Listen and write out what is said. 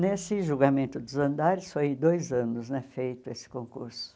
Nesse julgamento dos andares, foi dois anos né feito esse concurso.